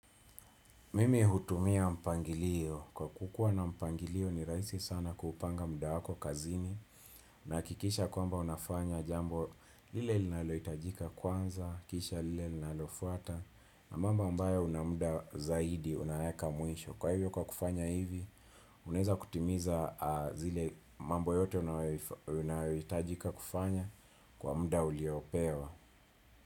Mimi hutumia mpangilio, kwa kukuwa na mpangilio ni rahisi sana kuupanga muda wako kazini na hakikisha kwamba unafanya jambo lile linalohitajika kwanza, kisha lile linalofuata na mamba ambayo una muda zaidi, unaweka mwisho. Kwa hivyo kwa kufanya hivi, uneza kutimiza zile mambo yote unayohitajika kufanya kwa muda uliopewa.